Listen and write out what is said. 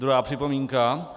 Druhá připomínka.